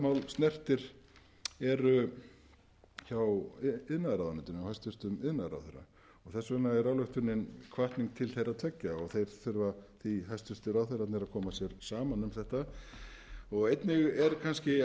snertir hjá iðnaðarráðuneytinu og hæstvirtur iðnaðarráðherra og þess vegna er ályktunin hvatning til þeirra tveggja og þeir þurfa því hæstvirtir ráðherrar að koma sér saman um þetta einnig er kannski